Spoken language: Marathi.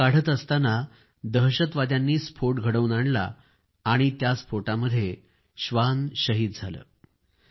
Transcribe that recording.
आयईडी काढण्यात दहशतवाद्यांनी स्फोट घडवून आणला आणि त्या स्फोटामध्ये हे श्वान शहीद झाले